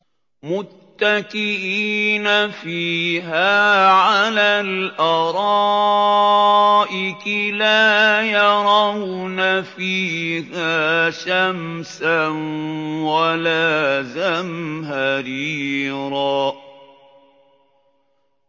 مُّتَّكِئِينَ فِيهَا عَلَى الْأَرَائِكِ ۖ لَا يَرَوْنَ فِيهَا شَمْسًا وَلَا زَمْهَرِيرًا